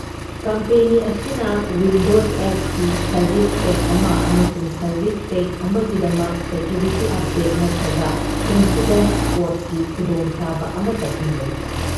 Company ꯑꯁꯤꯅ Windows XP service pack ꯑꯃ ꯑꯃꯁꯨꯡ ꯁꯔꯚꯤꯁ ꯄꯦꯛ ꯑꯃꯒꯤꯗꯃꯛ ꯁꯦꯀ꯭ꯌꯨꯔꯤꯇꯤ ꯑꯞꯗꯦꯠ ꯅꯠꯇ꯭ꯔꯒ ꯏꯟꯁꯤꯗꯦꯟꯠ ꯁꯄꯣꯔꯠꯀꯤ ꯈꯨꯗꯣꯡ ꯆꯥꯕ ꯑꯃꯇ ꯄꯤꯔꯣꯏ꯫